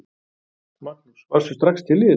Magnús: Varðstu strax til í þetta?